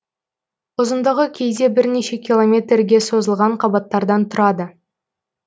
ұзындығы кейде бірнеше километрге созылған қабаттардан тұрады